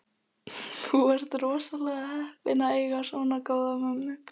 Þú ert rosalega heppinn að eiga svona góða mömmu.